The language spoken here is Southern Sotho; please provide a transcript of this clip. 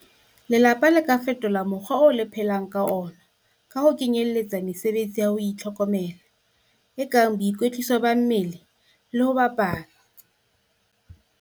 Lelapa le ka fetola mokgwa oo le phelang ka ona ka ho kenyeletsa mesebetsi ya ho itlhokomela, e kang boikwetliso ba mmele le ho bapala.